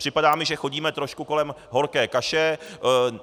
Připadá mi, že chodíme trošku kolem horké kaše.